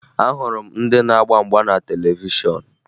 Ahụrụ m ndị na-agba mgba na televishọn